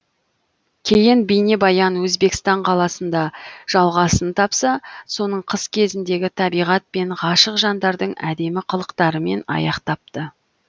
кейін бейнебаян өзбекстан қаласында жалғасын тапса соңын қыс кезіндегі табиғат пен ғашық жандардың әдемі қылықтарымен аяқтапты